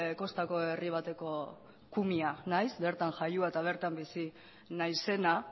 kostako herri bateko kumea naiz bertan jaioa eta bertan bizia naizena